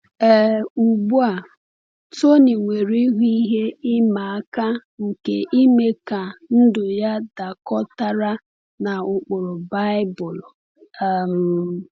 um Ugbu a, Tony nwere ihu ihe ịma aka nke ime ka ndụ ya dakọtara na ụkpụrụ Baịbụl. um